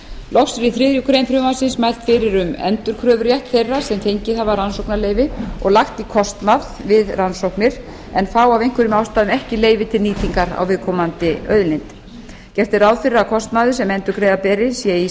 loks er í þriðju greinar frumvarpsins mælt fyrir um endurkröfurétt þeirra sem fengið hafa rannsóknarleyfi og lagt í kostnað við rannsóknir en fá af einhverjum ástæðum ekki leyfi til nýtingar á viðkomandi auðlind gert er ráð fyrir að kostnaður sem endurgreiða beri sé í